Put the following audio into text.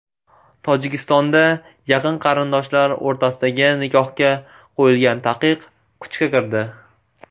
Tojikistonda yaqin qarindoshlar o‘rtasidagi nikohga qo‘yilgan taqiq kuchga kirdi.